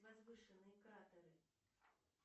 возвышенные кратеры